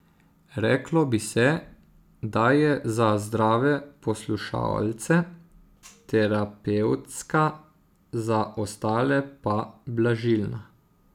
Reklo bi se, da je za zdrave poslušalce terapevtska, za ostale pa blažilna.